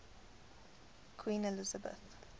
queen elizabeth